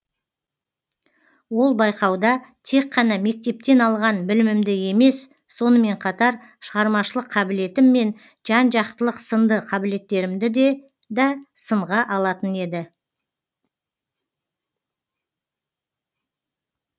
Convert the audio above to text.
ол байқауда тек қана мектептен алған білімімді емес сонымен қатар шығармашылық қабілетім мен жан жақтылық сынды қабілеттерімді да сынға алатын еді